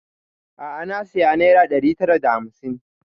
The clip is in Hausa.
A'a na saya naira ɗari tara da hamsin